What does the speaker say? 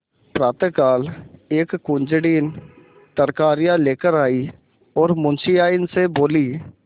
प्रातःकाल एक कुंजड़िन तरकारियॉँ लेकर आयी और मुंशियाइन से बोली